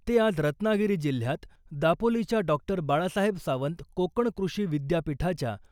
ते आज रत्नागिरी जिल्ह्यात दापोलीच्या डॉ . बाळासाहेब सावंत कोकण कृषी विद्यापीठाच्या